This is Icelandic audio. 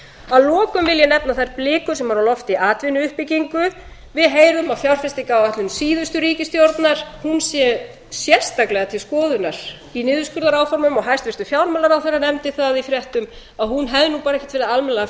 að lokum vil ég nefna þær blikur sem eru á lofti í atvinnuuppbyggingu við heyrum að fjárfestingaráætlun síðustu ríkisstjórnar hún sé sérstaklega til skoðunar í niðurskurðaráformum og hæstvirtur fjármálaráðherra nefndi það í fréttum að hún hefði nú bara ekkert verið almennilega